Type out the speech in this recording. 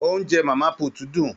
Oúnjẹ mama put dun.